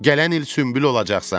Gələn il sümbül olacaqsan.